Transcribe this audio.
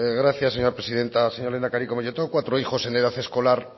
gracias señora presidenta señor lehendakari como yo tengo cuatro hijos en edad escolar